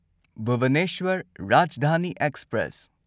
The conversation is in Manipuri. ꯚꯨꯕꯅꯦꯁ꯭ꯋꯔ ꯔꯥꯖꯙꯥꯅꯤ ꯑꯦꯛꯁꯄ꯭ꯔꯦꯁ